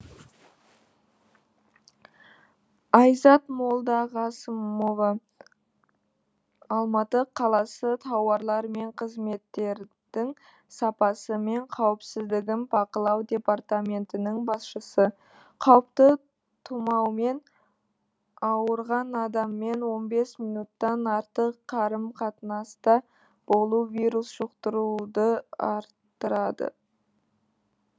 айзат молдағасымова алматы қаласы тауарлар мен қызметтердің сапасы мен қауіпсіздігін бақылау департаментінің басшысы қауіпті тұмаумен ауырған адаммен он бес минуттық артық қарым қатынаста болу вирус жұқтыруды арттырады